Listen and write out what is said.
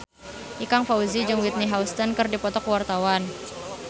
Ikang Fawzi jeung Whitney Houston keur dipoto ku wartawan